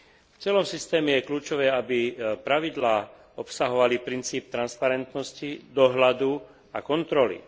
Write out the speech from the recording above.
V celom systéme je kľúčové, aby pravidlá obsahovali princíp transparentnosti, dohľadu a kontroly.